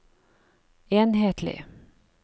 enhetlig